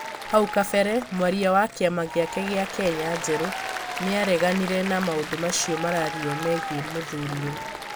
haũ kabere mwaria wa kĩama gĩake kĩa Kenya njerũ nĩareganire na maũndũ macio mararirio megie mũthũriwe.